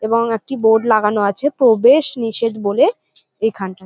এবং একটি বোর্ড লাগানো আছে প্রবেশ নিষেধ বলে এখানটায়।